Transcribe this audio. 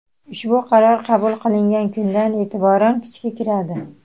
Ushbu qaror qabul qilingan kundan e’tiboran kuchga kiradi.